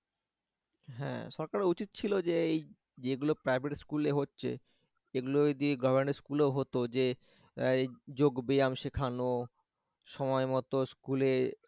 হ্যাঁ সরকারের উচিত ছিল যে এই যেগুলো private school এ হচ্ছে সেগুলো যদি government school এ ও হতো যে আহ যোগ ব্যায়াম শেখানো সময় মত school এ